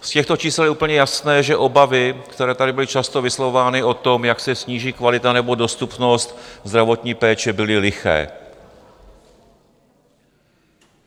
Z těchto čísel je úplně jasné, že obavy, které tady byly často vyslovovány o tom, jak se sníží kvalita nebo dostupnost zdravotní péče, byly liché.